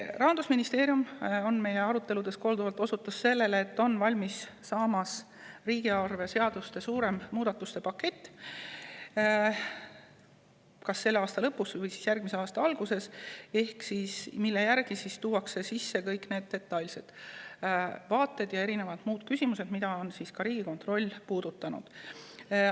Rahandusministeerium on meie aruteludes korduvalt osutanud sellele, et valmimas on riigieelarve seaduste muudatuste suurem pakett – see tuleb kas selle aasta lõpus või järgmise aasta alguses –, sellesse tuuakse sisse kõik detailsed vaated ja muud küsimused, mida ka Riigikontroll on puudutanud.